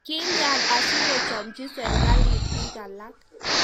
kilyan asikuchomchi serekalit biik alak